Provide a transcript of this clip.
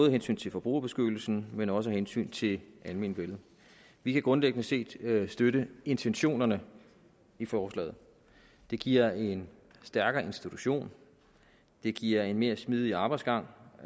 af hensyn til forbrugerbeskyttelsen men også af hensyn til almenvellet vi kan grundlæggende set støtte intentionerne i forslaget det giver en stærkere institution det giver en mere smidig arbejdsgang